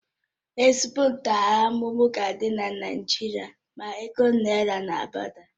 Ezigbo ntaramahụhụ ga adị na Naijiria ma ego naira na agbada